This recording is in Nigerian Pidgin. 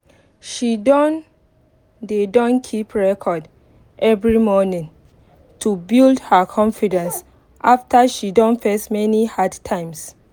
she don dey don keep record every morning to build her confidence after she don face many hard times